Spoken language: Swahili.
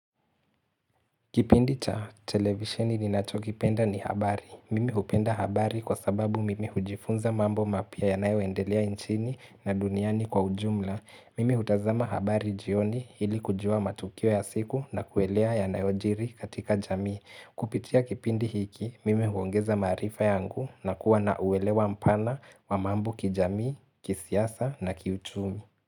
Kipindi cha televisheni ninachokipenda ni habari. Mimi hupenda habari kwa sababu mimi hujifunza mambo mapya yanayoendelea nchini na duniani kwa ujumla. Mimi hutazama habari jioni ili kujua matukio ya siku na kuelewa yanayojiri katika jamii. Kupitia kipindi hiki, mimi huongeza maarifa yangu na kuwa na uelewa mpana wa mambo kijamii, kisiasa na kiuchumi.